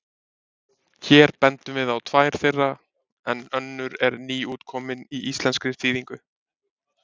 Hér bendum við á tvær þeirra en önnur er nýútkomin í íslenskri þýðingu.